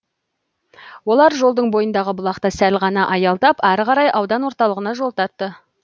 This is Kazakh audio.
олар жолдың бойындағы бұлақта сәл ғана аялдап ары қарай аудан орталығына жол тартты